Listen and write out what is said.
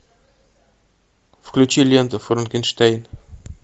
включи ленту франкенштейн